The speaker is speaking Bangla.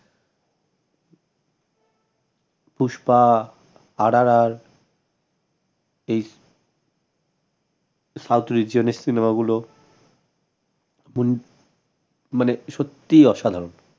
পুষ্পা RRR south region এর cinema গুলো মানে সত্যি অসাধারন